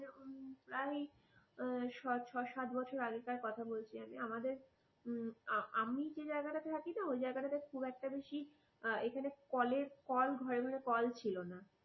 প্রায় ছয় সাত বছর আগেকার কথা বলছি আমি আমাদের আমি আমি যে জায়গাটাতে থাকি না ওই জায়গাটাতে খুব একটা বেশি এখানে কলের কল ঘরে ঘরে কল ছিলনা